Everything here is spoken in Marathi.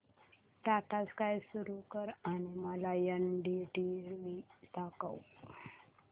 टाटा स्काय सुरू कर आणि मला एनडीटीव्ही दाखव